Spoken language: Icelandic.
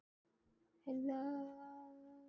Gera eitthvað fyrir hana.